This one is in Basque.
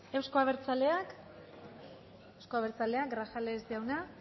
euzko abertzaleak grajales